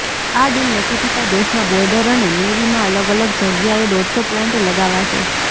આ ડીલ નક્કી થતા દેશના બોર્ડર અને નેવીમાં અલગ અલગ જગ્યાએ દોઢસો પ્લાન્ટ લગાવાશે